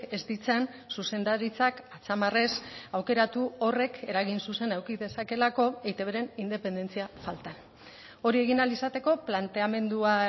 ez ditzan zuzendaritzak atzamarrez aukeratu horrek eragin zuzena eduki dezakelako eitbren independentzia faltan hori egin ahal izateko planteamendua